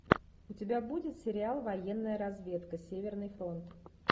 у тебя будет сериал военная разведка северный фронт